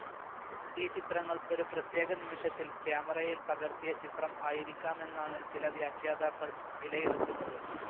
ഈ ചിത്രങ്ങൾ ഒരു പ്രത്യേക നിമിഷത്തിൽ ക്യാമറയിൽ പകർത്തിയ ചിത്രം ആയിരിക്കാമെന്നാണ് ചില വ്യാഖ്യാതാക്കൾ വിലയിരുത്തുന്നത്.